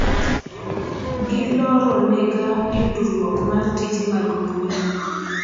giloronega yudruok mar tije mag mbui